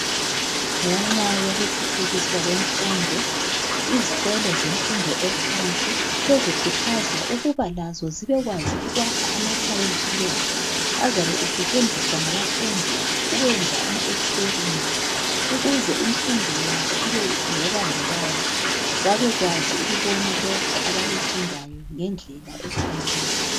Ngenxa yokuthuthukiswa kwemfundo izikolo zemfundo ephansi sezikhuthazwa ukuba lazo sibe kwazi ukwakha amalembu esayensi azabe esetshenziswa ngabafundi ukwenza ama ekisiperimenti ukuze imfundo yabo ibe ngebambekayo babekwazi ukubona lokho abakufundayo ngendlela efaneleyo.